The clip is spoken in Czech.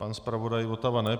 Pan zpravodaj Votava ne.